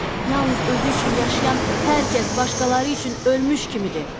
Yalnız özü üçün yaşayan hər kəs başqaları üçün ölmüş kimidir.